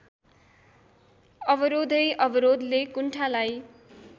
अवरोधै अवरोधले कुण्ठालाई